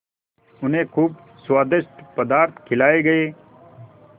उन्हें खूब स्वादिष्ट पदार्थ खिलाये गये